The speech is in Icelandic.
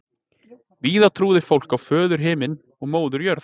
Víða trúði fólk á föður Himinn og móður Jörð.